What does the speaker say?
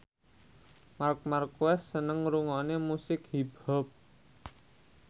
Marc Marquez seneng ngrungokne musik hip hop